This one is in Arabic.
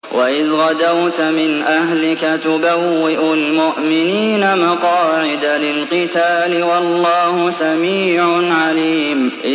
وَإِذْ غَدَوْتَ مِنْ أَهْلِكَ تُبَوِّئُ الْمُؤْمِنِينَ مَقَاعِدَ لِلْقِتَالِ ۗ وَاللَّهُ سَمِيعٌ عَلِيمٌ